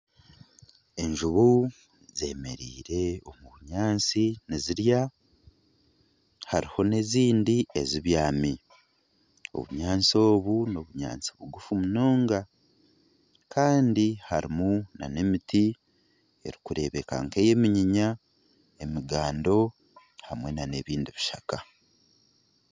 Enjubu zemereire omu bunyaatsi nizirya hariho n'ezindi ezibyami obunyaatsi obu n'obunyaatsi buguufu munonga kandi harimu na n'emiti erikureebeka nka eyeminyinya, emigando hamwe na n'ebindi bishaka.